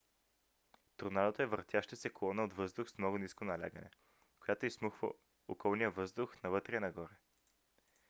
торнадото е въртяща се колона от въздух с много ниско налягане която изсмуква околния въздух навътре и нагоре